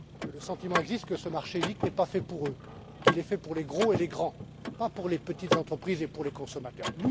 Le sentiment existe que ce marché unique n'est pas fait pour eux, qu'il est fait pour les gros et les grands, pas pour les petites entreprises et les consommateurs.